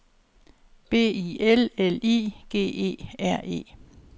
B I L L I G E R E